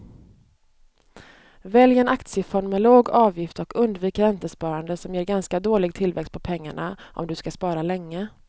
Välj en aktiefond med låg avgift och undvik räntesparande som ger ganska dålig tillväxt på pengarna om du ska spara länge.